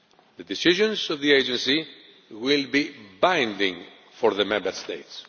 The decisions of the Agency will be binding upon the Member States.